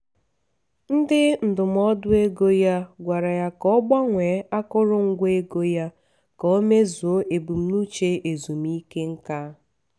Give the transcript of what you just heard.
onye ndụmọdụ ego ya gwara ya ka o gbanwee akụrụngwa ego ya ka o meezuo ebumnuche ezumike nká.